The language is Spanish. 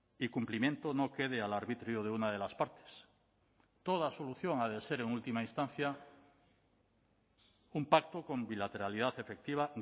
y cumplimiento no quede al arbitrio de una de las partes toda solución ha de ser en última instancia un pacto con bilateralidad efectiva